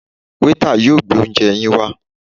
Waiter yóò gbé oúnje yín wá.